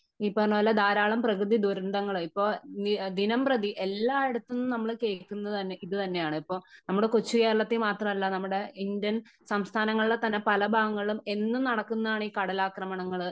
ഈ പറഞ്ഞ പോലെ ധാരാളം പ്രകൃതി ദുരന്തങ്ങൾ ഇപ്പോ ദിനം പ്രതി എല്ലായിടത്തും നമ്മൾ കേൾക്കുന്നത് ഇത് തന്നെയാണ് . ഇപ്പോ നമ്മുടെ കൊച്ചു കേരളത്തില് മാത്രമല്ല നമ്മുടെ ഇന്ത്യൻ സംസ്ഥാനങ്ങളിലെ തന്നെ പല ഭാഗങ്ങളിലും എന്നും നടക്കുന്നതാണ് ഈ കടലാക്രമണങ്ങള്